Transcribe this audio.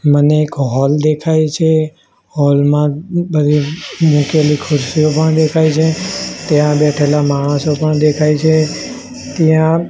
મને એક હોલ દેખાય છે હોલ મા બધી મૂકેલી ખુરસીઓ પણ દેખાય છે ત્યાં બેઠેલા માણસો પણ દેખાય છે ત્યાં--